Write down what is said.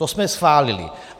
To jsme schválili.